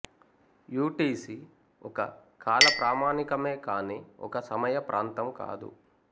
UTC ఒక కాల ప్రామాణికేమే కానీ ఒక సమయ ప్రాంతం కాదు